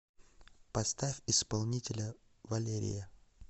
поставь исполнителя валерия